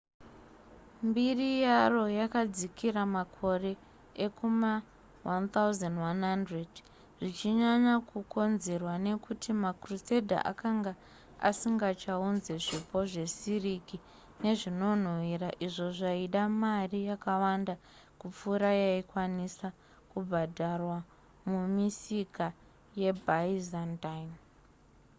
mbiri yaro yakadzikira makore ekuma1100 zvichinyanya kukonzerwa nekuti macrusader akanga asingachaunze zvipo zvesiriki nezvinonhuwira izvo zvaida mari yakawanda kupfuura yaikwanisa kubhadharwa mumisika yebyzantine